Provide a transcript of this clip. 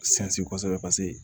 Sinsin kosɛbɛ paseke